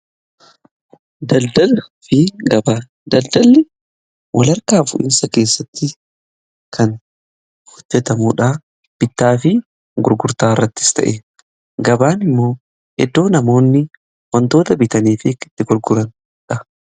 Daldalaa fi gabaa: Daldalli walharkaa fuudhiinsa keessatti kan hojjetamudha. Bittaa fi gurgurtaa irrattis ta'e, gabaan immoo iddoo namoonni wantoota bitaniifi itti gurguraniidha.